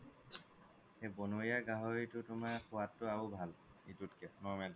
সেই ব্নৰীয়া গাহৰিতোৰ সুৱাদ তো তুমাৰ আৰু ভাল ইতোতকে normal তোত কে